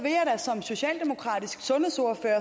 socialdemokratisk sundhedsordfører